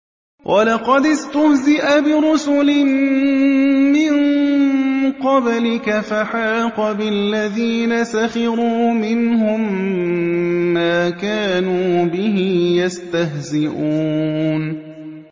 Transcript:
وَلَقَدِ اسْتُهْزِئَ بِرُسُلٍ مِّن قَبْلِكَ فَحَاقَ بِالَّذِينَ سَخِرُوا مِنْهُم مَّا كَانُوا بِهِ يَسْتَهْزِئُونَ